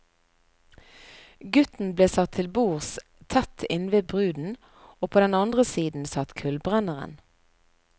Gutten ble satt til bords tett innved bruden, og på den andre siden satt kullbrenneren.